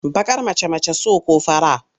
Baƙar mace mace so ko fara?